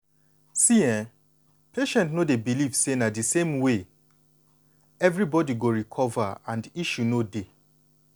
see[um]most patient no dey believe say na di same way everybody go recover and issue no dey.